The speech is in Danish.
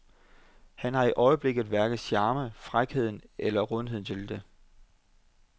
Han har i øjeblikket hverken charmen, frækheden eller rundheden til det.